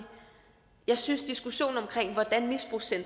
jeg synes